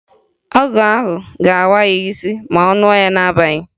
Ọgwụ ahụ ga-awa ya isi ma ọ ṅụọ ya n'abalị